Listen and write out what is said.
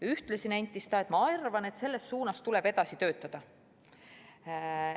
Ühtlasi nentis ta, et ta arvab et selles suunas tuleb edasi töötada.